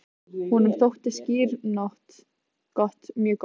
Honum þótti skyr gott, mjög gott.